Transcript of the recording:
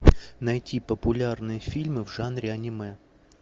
найти популярные фильмы в жанре аниме